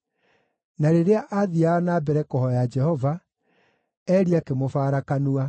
Na rĩrĩa aathiiaga na mbere kũhooya Jehova, Eli akĩmũbara kanua.